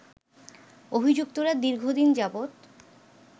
অভিযুক্তরা দীর্ঘদিন যাবৎ